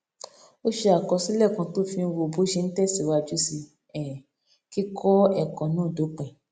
ó ṣe àkọsílè kan tó fi ń wo bó ṣe ń tèsíwájú sí um kíkó èkó náà dópin